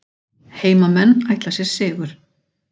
Heimamenn ætla sér sigur